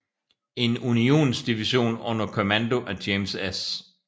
En Unionsdivision under kommando af James S